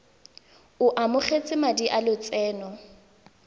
o amogetse madi a lotseno